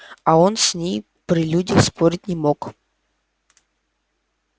а он с ней при людях спорить не мог